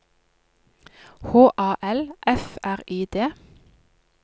H A L F R I D